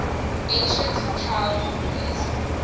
ancient child rulers